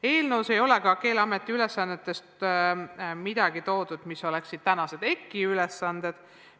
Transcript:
Eelnõus ei ole ka toodud selliseid Keeleameti ülesandeid, mis oleksid praegu EKI ülesanded.